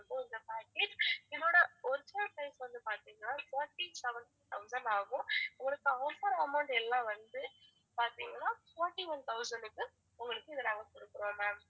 இது ஒரு package இதோட original price வந்து பாத்திங்கனா forty-seven thousand ஆகும் உங்களுக்கு offer amount எல்லாம் வந்து பாத்திங்கனா forty-one thousand க்கு உங்களுக்கு இதை நாங்க குடுக்கறோம் ma'am